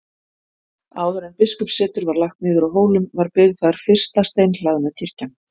Áður en biskupssetur var lagt niður á Hólum var byggð þar fyrsta steinhlaðna kirkjan.